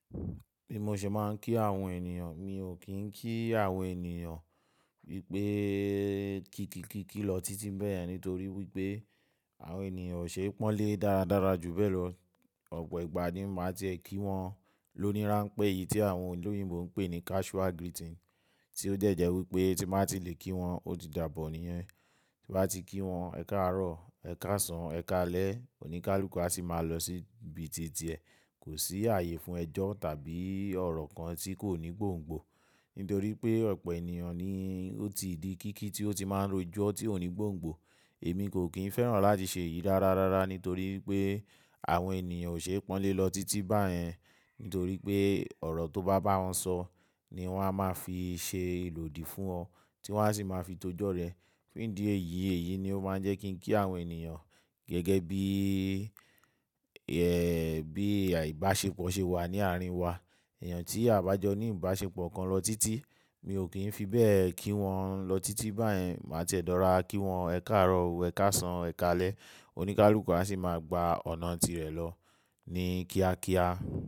Bí mo ṣe máa ń kí àwọn ènìyàn, mi ò kí àwọn ènìyàn wípé kíkíkí ki lọ títí beyen nítorí wípé àwọn ènìyàn ò ṣe pọ́n lé dáradára ju bẹ́ẹ̀ lọ. Ọ̀pọ̀ ìgbà ni màá tiẹ kí wọn, lóníranpe èyí tí àwọn olòyìnbó ń pè ní casual greeting tí ó de jẹ̀ wípé tí n ba ti lè kí wọn ó ti dààbò nìyẹn. Ti bá ti kí wọn "Ẹ káàárọ̀", "Ẹ káàsán", "Ẹ káalẹ́", oníkálukú a sì máa lọ sí ibi títí ẹ. Kò sí ààyè fún ẹjọ́ tàbí ọ̀rọ̀ kan tí kò ní gbòǹgbò. Nítorí pé ọ̀pọ̀ ènìyàn ni ó ti di kíkí tí ó ti máa ń rojọ́ tí ò ní gbòǹgbò. Èmi kò kín fẹ́ràn láti ṣe èyí rárarárara nítorí pé àwọn ènìyàn ò ṣe pọ́nlé lọ títí báyẹn. Nítorí pé ọ̀rọ̀ tó bá bá wọn sọ̀ ni wọ́n á máa fi ṣe ìlòdì fún ọ tí wọ́n a sì máa fi tojọ́ rẹ̀. Fundi eyi èyí ni ó máa ń jẹ́ kí ń kí àwọn ènìyàn gẹ́gẹ́ bí, ẹ́, bí àìbáṣepọ̀ ṣe wà ní àárín wa. Ènìyàn tí a bá jọ ní ìbáṣepọ̀ kan lọ títí, mi ò kí ń fi bẹ́ẹ̀ kí wọn lọ títí báyẹn. Màá ti ẹ́ rora kí wọn "Ẹ káàárọ̀", "Ẹ káàsán", "Ẹ káalẹ́", oníkálukú a sì máa gba ọ̀nà tirẹ̀ lọ ní kíákíá.